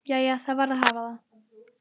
Jæja, það varð að hafa það.